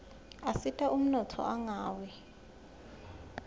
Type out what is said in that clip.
asita umnotfo ungawi